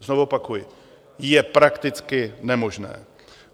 Znovu opakuji: je prakticky nemožné.